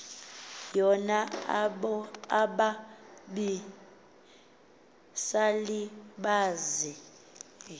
yona ababi salibazi